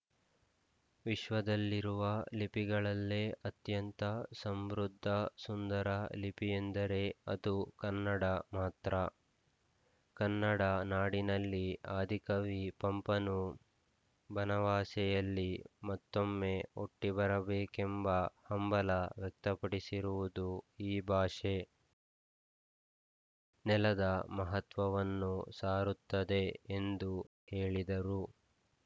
ವಿಶ್ವದಲ್ಲಿರುವ ಲಿಪಿಗಳಲ್ಲೇ ಅತ್ಯಂತ ಸಮೃದ್ಧ ಸುಂದರ ಲಿಪಿಯೆಂದರೆ ಅದು ಕನ್ನಡ ಮಾತ್ರ ಕನ್ನಡ ನಾಡಿನಲ್ಲಿ ಆದಿಕವಿ ಪಂಪನು ಬನವಾಸಿಯಲ್ಲಿ ಮತ್ತೊಮ್ಮೆ ಹುಟ್ಟಿಬರಬೇಕೆಂಬ ಹಂಬಲ ವ್ಯಕ್ತಪಡಿಸಿರುವುದು ಈ ಭಾಷೆ ನೆಲದ ಮಹತ್ವವನ್ನು ಸಾರುತ್ತದೆ ಎಂದು ಹೇಳಿದರು